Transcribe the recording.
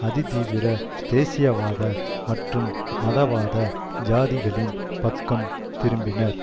அதிதீவிர தேசியவாத மற்றும் மதவாத ஜாதிகளின் பக்கம் திரும்பினர்